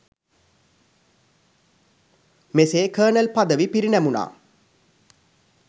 මෙසේ කර්නල් පදවි පිරිනැමුණා